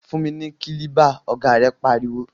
Fún mi ni kílíbà! ọ̀gá rẹ̀ pariwo.